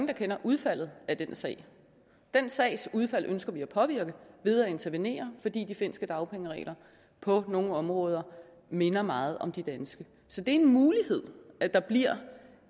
kender udfaldet af den sag den sags udfald ønsker vi at påvirke ved at intervenere fordi de finske dagpengeregler på nogle områder minder meget om de danske så det er en mulighed at der bliver